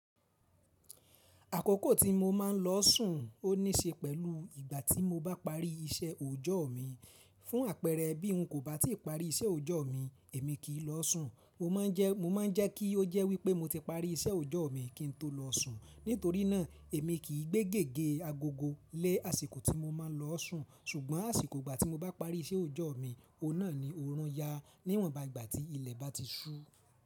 Àkókò tí mo máa ń lọ sùn ó níṣe pẹ̀lú ìgbà tí mo bá parí iṣẹ́ òòjọ́ mi. Fún àpẹẹrẹ bí n kò bá ti i parí iṣẹ́ òòjọ́ mi, èmi kì í lọ sùn. Mo máa ń jẹ́ kí ó jẹ́ wípé mo ti parí iṣẹ́ ojo mi kí n tó lọ sùn. Nítorí náà èmi kì í gbé gègé agogo lé àsìkò tí mo máa ń lọ sùn. Ṣùgbọ́n àsìkò ìgbà tí mo bá parí iṣẹ́ òòjọ́ mi, òun náà ni orun yà níwọ̀nba ìgbà tí ilẹ̀ bá ti ṣú.